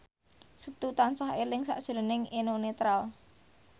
Setu tansah eling sakjroning Eno Netral